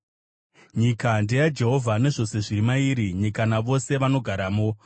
Nyika ndeyaJehovha, nezvose zviri mairi, nyika, navose vanogaramo;